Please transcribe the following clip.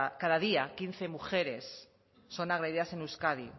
cada día quince mujeres son agredidas en euskadi